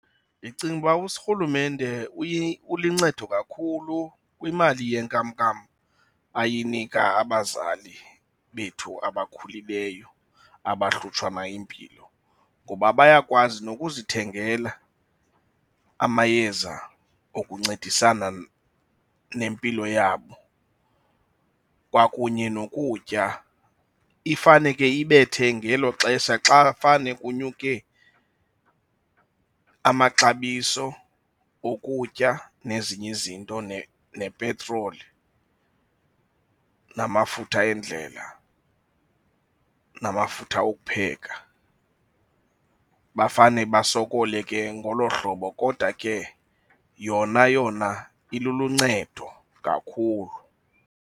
Ndicinga uba urhulumente uyilincedo kakhulu kwimali yenkamnkam ayanika abazali bethu abakhulileyo abahlutshwa na yimpilo ngoba bayakwazi nokuzithengela amayeza okuncedisana nempilo yabo kwakunye nokutya, ifane ke ibethe ngeelo xesha xa fane kunyuke amaxabiso okutya nezinye izinto nepetroli, namafutha endlela, namafutha okupheka. Bafane basokole ke ngolo hlobo kodwa ke yona yona iluluncedo kakhulu.